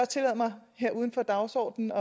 tillade mig her uden for dagsordenen